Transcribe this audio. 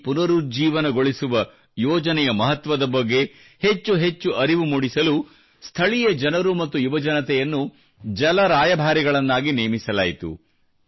ಈ ಪುನರುಜ್ಜೀವಗೊಳಿಸುವ ಯೋಜನೆಯ ಮಹತ್ವದ ಬಗ್ಗೆ ಹೆಚ್ಚೆಚ್ಚು ಅರಿವು ಮೂಡಿಸಲು ಸ್ಥಳೀಯ ಜನರು ಮತ್ತು ಯುವಜನತೆಯನ್ನು ಜಲ ರಾಯಭಾರಿಗಳನ್ನಾಗಿ ನೇಮಿಸಲಾಯಿತು